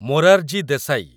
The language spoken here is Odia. ମୋରାରଜୀ ଦେଶାଇ